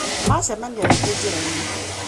Macemania rĩngĩ njĩra-inĩ